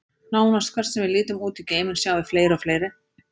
Nánast hvert sem við lítum út í geiminn, sjáum við fleiri og fleiri.